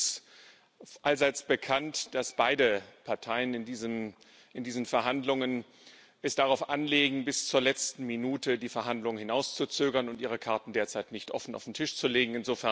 Es ist allseits bekannt, dass beide Parteien es in diesen Verhandlungen darauf anlegen, bis zur letzten Minute die Verhandlungen hinauszuzögern und ihre Karten derzeit nicht offen auf den Tisch zu legen.